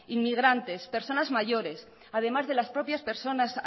inmigrantes personas mayores además de las propias personas